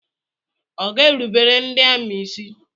Ọ ga erubere ndị amị ísí?